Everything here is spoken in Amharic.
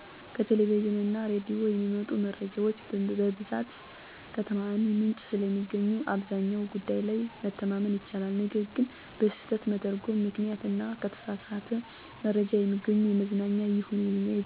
ከቴሌቪዥን እና ሬዲዮ የሚመጡ መረጃዎች በብዛት ከተዓማኒ ምንጭ ስለሚገኙ አብዛኛው ጉዳይ ላይ መተማመን ይቻላል። ነገር ግን በስህተት መተርጐም ምክንያት እና ከተሳሳት መረጃ የሚገኙ የመዝናኛም ይሁን የዜና መረጃዎች የሚያመጡት ችግር ቀላል የሚባል አይደለም። ሰዎች ያንን የተሳሳት መረጃ ይዘው የሚያደርጉት ወይም የሚወስኑት ጉዳይ ከራሳቸው አልፎ ሌሎች ላይም ከፍተኛ የሆነ ኪሣራ እንዲሁም ጉዳት ሊያስከትሉ ይችላሉ።